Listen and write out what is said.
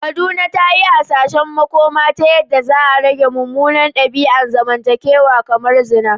Kaduna ta yi hasashen makoma ta yadda za a rage munanan dabi’un zamantakewa kamar zina.